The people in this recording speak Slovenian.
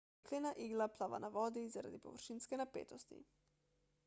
jeklena igla plava na vodi zaradi površinske napetosti